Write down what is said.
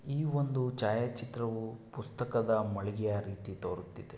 ಇದು ಒಂದು ಛಾಯಾ ಚಿತ್ರವು ಪುಸ್ತಕದ ಮಳಿಗೆ ರಿತಿ ತೊರುತ್ತಿದೆ .